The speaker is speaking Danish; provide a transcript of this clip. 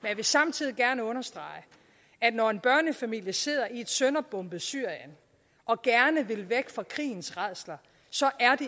jeg vil samtidig gerne understrege at når en børnefamilie sidder i et sønderbombet syrien og gerne vil væk fra krigens rædsler